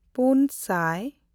ᱯᱩᱱᱼᱥᱟᱭ